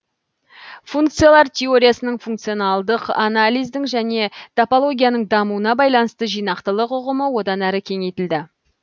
функциялар теориясының функционалдық анализдің және топологияның дамуына байланысты жинақтылық ұғымы одан әрі кеңейтілді